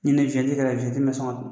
ni yɛrɛ la mɛ sɔn ka .